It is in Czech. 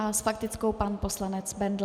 A s faktickou pan poslanec Bendl.